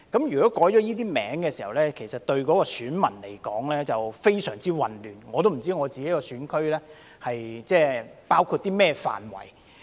如果改了這些名稱，對選民而言會非常混亂，我也不知道我的選區包括甚麼範圍。